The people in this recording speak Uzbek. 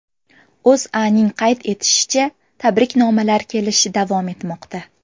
O‘zAning qayd etishicha, tabriknomalar kelishi davom etmoqda.